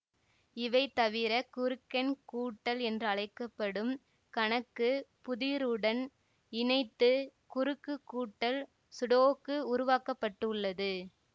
இவை தவிர குறுக்கெண் கூட்டல் என்றழைக்க படும் கணக்கு புதிருடன் இணைத்து குறுக்கு கூட்டல் சுடோக்கு உருவாக்க பட்டுள்ளது